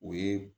O ye